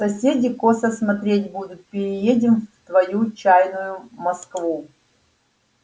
соседи косо смотреть будут переедем в твою чаянную москву